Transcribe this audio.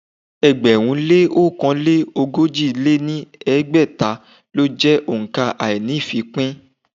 ẹgbẹ̀rún lé ọ̀kan lé ogójì lé ní ẹgbẹ́ta lọ jẹ́ òǹkà àíní-ìfípín.